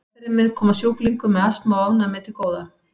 Meðferðin mun koma sjúklingum með astma og ofnæmi til góða.